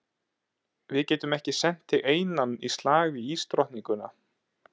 Við getum ekki sent þig einann í slag við ísdrottninguna.